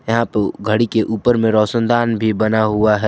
यहां पे घड़ी के ऊपर में रोशनदान भी बना हुआ है।